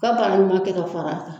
U ka baara ɲuman kɛ ka fara a kan.